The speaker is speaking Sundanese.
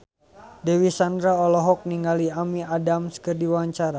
Dewi Sandra olohok ningali Amy Adams keur diwawancara